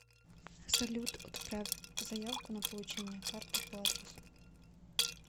салют отправь заявку на получение карты по адресу